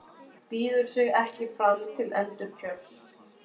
Býður sig ekki fram til endurkjörs